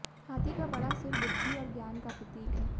हाथी का बड़ा सिर बुद्धि और ज्ञान का प्रतीक है